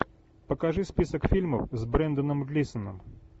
покажи список фильмов с бренданом глисаном